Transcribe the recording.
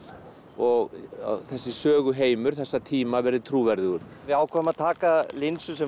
og þessi þessa tíma verði trúverðugur við ákváðum að taka linsur sem